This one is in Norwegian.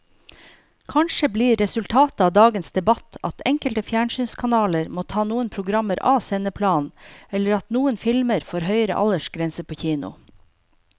Kanskje blir resultatet av dagens debatt at enkelte fjernsynskanaler må ta noen programmer av sendeplanen eller at noen filmer får høyere aldersgrense på kino.